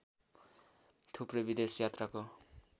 थुप्रै विदेश यात्राको